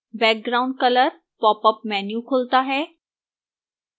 background color popup menu खुलता है